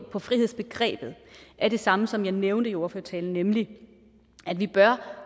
og på frihedsbegrebet er det samme som jeg nævnte i ordførertalen nemlig at vi